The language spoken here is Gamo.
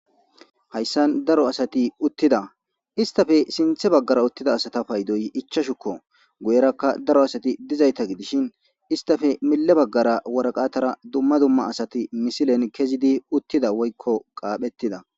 Haysani daro asati utida, istappe sinthe bagara utida asata paydoyi ichashuko. Guyeraka daro asati dizayta gidishin istappe mile bagara dumma dumma asati waraqatani misilen kezidi utida woyko qaaphetida .